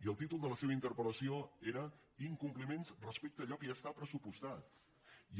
i el títol de la seva interpel·lació era incompliments respecte a allò que ja està pressupostat